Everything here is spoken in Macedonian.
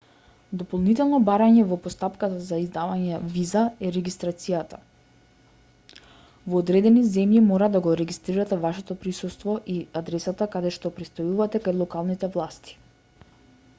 дополнително барање во постапката за издавање виза е регистрацијата во одредени земји мора да го регистрирате вашето присуство и адресата каде што престојувате кај локалните власти